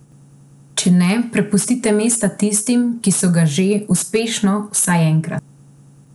Če ne, prepustite mesta tistim, ki so ga že, uspešno, vsaj enkrat.